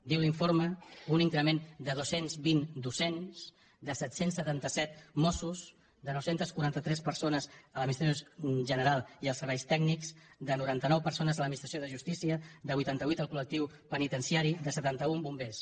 diu l’informe un increment de dos cents i vint docents de set cents i setanta set mossos de nou cents i quaranta tres persones a l’administració general i als serveis tècnics de noranta nou persones a l’administració de justícia de vuitanta vuit al colbers